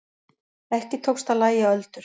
Ekki tókst að lægja öldur.